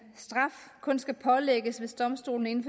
straf kun skal pålægges hvis domstolen inden